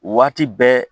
Waati bɛɛ